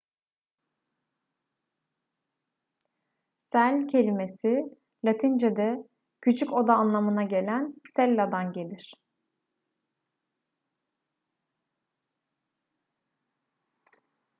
cell kelimesi latincede küçük oda anlamına gelen cella'dan gelir